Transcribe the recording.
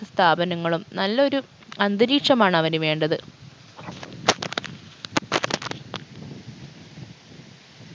സ്ഥാപനങ്ങളും നല്ലൊരു അന്തരീക്ഷമാണ് അവന് വേണ്ടത്